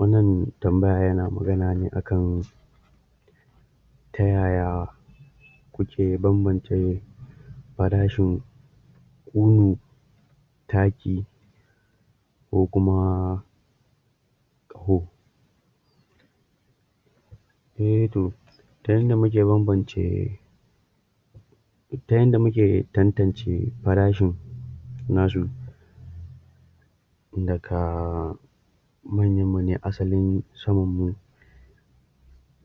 Wannan tambaya yana magana ne akan ta yaya kuke banbance farashin kono taki ko kuma ko Eh toh ta inda muke banbance ta inda muke tantance farashin na su daga um manyan mune asalin samanmun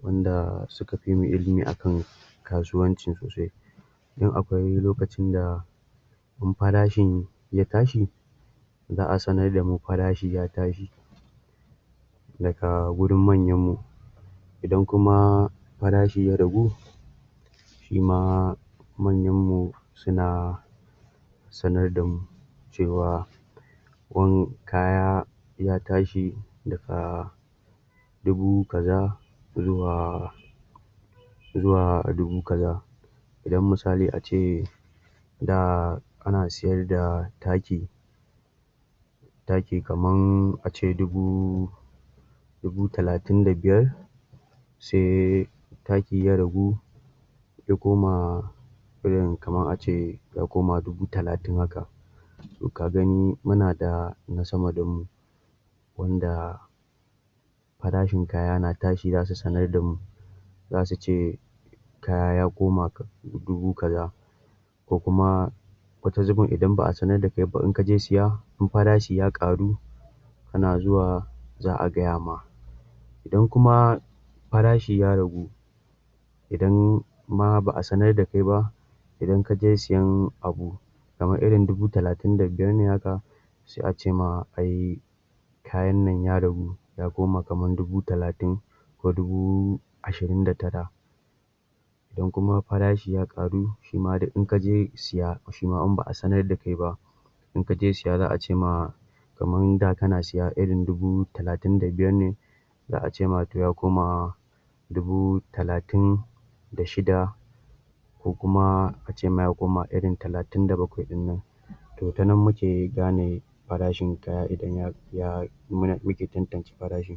wanda suka fi mu ilimi akan kasuwanci sosai dan akwai lokacin da in farashin ya tashi za'a sanar da mu farashin ya tashi daga wurin manyan mu idan kuma farashi ya ragu Shima manyan mu suna sanar damu cewa kudin kaya ya tashi daga dubu kaza zuwa zuwa dubu kaza idan misali ace da ana sayarda taki taki kaman ace dubu dubu talatin da biyar sai taki ya ragu ya koma irin kaman ace ya koma dubu talatin haka Toh ka gani muna da sama damu wanda farashin kaya yana tashi zasu sanar da mu za su ce kaya ya koma dubu kaza ko kuma wani zubin idan ba'a sanar da kai ba idan kaje siya in farashi ya ƙaru kana zuwa za'a gayama idan kuma farashi ya ragu idan ma ba'a sanar da kai ba idan kaje siyan abu kamar irin dubu talatin da biyar ne haka sai a cema ai kaya nan ya ragu ya koma kamar dubu talatin ko dubu ashirin da tara idan kuma farashi ya ƙaru shima duk in kaje siya Shima in ba'a sanar da kai ba in kaje siya za'a cema kamar da kana siya irin dubu talatin da biyar ne za'a ce ma ya koma dubu talatin da shida kokuma ace ma ya koma irin talatin da bakwai dinnan to ta nan muke gane farashin kaya idan muke tantance farashin.